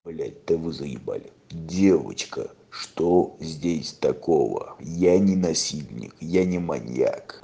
блядь то вы заебали девочка что здесь такого я не насильник я не маньяк